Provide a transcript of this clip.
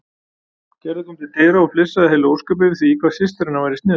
Gerður kom til dyra og flissaði heil ósköp yfir því hvað systir hennar væri sniðug.